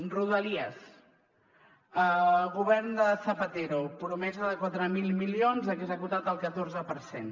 rodalies govern de zapatero promesa de quatre mil milions executat el catorze per cent